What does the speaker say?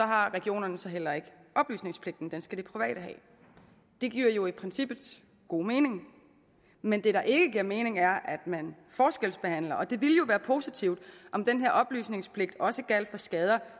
har regionerne så heller ikke oplysningspligten den skal de private have det giver jo i princippet god mening men det der ikke giver mening er at man forskelsbehandler og det ville jo være positivt om den her oplysningspligt også gjaldt for skader